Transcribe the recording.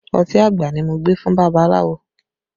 Ọtí àgbà ni mo gbé fún babaláwo